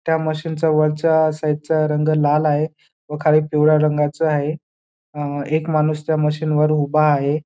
त्या मशीन चा वरच्या साईड चा रंग लाल आहे व खाली पिवळा रंगाचा आहे अ एक माणूस त्या मशीन वर उभा आहे.